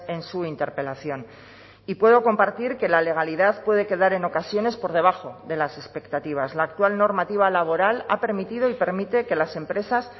en su interpelación y puedo compartir que la legalidad puede quedar en ocasiones por debajo de las expectativas la actual normativa laboral ha permitido y permite que las empresas